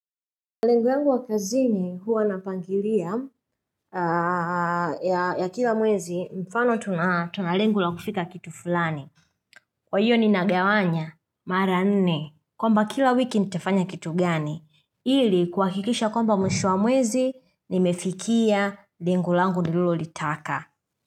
Lengo yangu wa kazini huwa napangilia ya kila mwezi mfano tuna tuna lengo la kufika kitu fulani Kwa hiyo nina gawanya mara nne kwamba kila wiki nitafanya kitu gani ili kuwakikisha kwamba mwisho wa mwezi nimefikia lengo langu nilolo litaka.